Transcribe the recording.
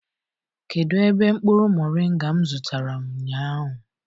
kedu ebe mkpuru moringa m zụtara ụnyahụ?